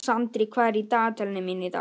Sandri, hvað er í dagatalinu mínu í dag?